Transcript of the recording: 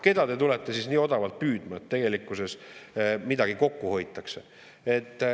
Keda te tulete nii odavalt püüdma,, et tegelikkuses midagi kokku hoitakse.